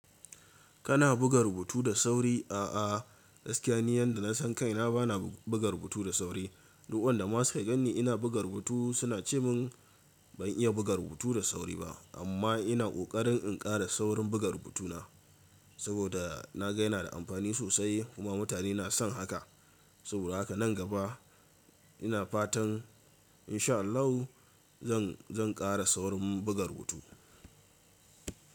Kana buga rubutu da sauri? A'a, gaskiya ni yanda na san kaina bana buga rubutu da sauri. Duk wanda suka ganni ina buga rubutu suna cewa mun ban iya buga rubutu da sauri ba, amma ina ƙoƙarin in kara saurin buga rubutuna saboda na ga yana da amfani sosai kuma mutane na son haka. Saboda haka nan gaba ina fatan insha Allahu zan, zan ƙara saurin buga rubutu.